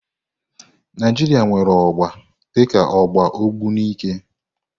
Naijiria nwere ọgba dika ọgba Ogbunike.